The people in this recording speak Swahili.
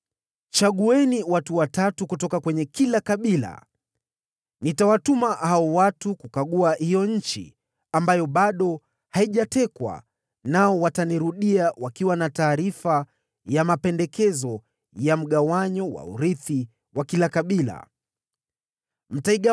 Chagueni watu watatu kutoka kwenye kila kabila. Nitawatuma hao watu kukagua hiyo nchi na kuniandikia mapendekezo ya mgawanyo wa urithi wa kila kabila. Nao watanirudia.